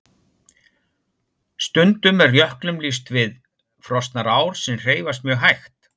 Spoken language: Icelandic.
Stundum er jöklum líkt við frosnar ár sem hreyfast mjög hægt.